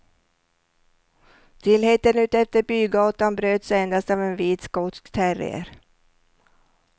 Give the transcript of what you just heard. Stillheten utefter bygatan bröts endast av en vit skotsk terrier.